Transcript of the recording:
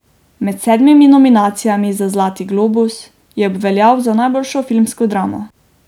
Med sedmimi nominacijami za zlati globus, je obveljal za najboljšo filmsko dramo.